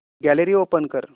gallery open कर